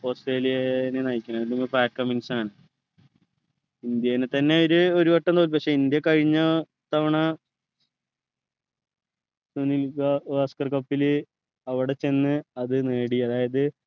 ഓസ്‌ട്രേലിയനെ നയിക്കാൻ ഇന്ത്യനെ തന്നെ ഇവര് ഒരുവട്ടം തോൽപ്പിച്ചു ഇന്ത്യ കഴിഞ്ഞ തവണ ഗാവസ്‌കർ cup ലു അവിടെ ചെന്ന് അത് നേടി അതായത്